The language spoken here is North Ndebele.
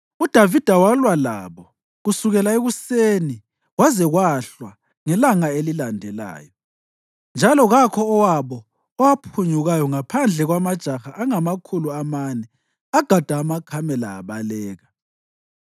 UDavida walwa labo kusukela ekuseni kwaze kwahlwa ngelanga elilandelayo, njalo kakho owabo owaphunyukayo ngaphandle kwamajaha angamakhulu amane agada amakamela abaleka.